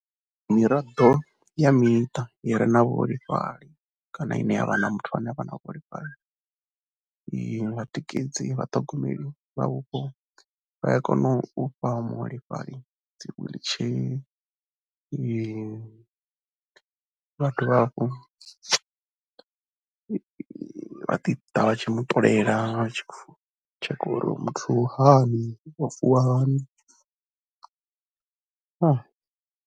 Miraḓo ya miṱa i re na vhuholefhali kana ine ya vha na muthu ane a vha na vhuholefhali i nga tikedzi, vhaṱhogomeli vha vhupo vha ya kona u fha muholefhali dzi wheelchair, vha dovha hafhu vha ḓi ḓa vha tshi mu ṱolela vha tshi tshekha uri uyu muthu u hani, o vuwa hani.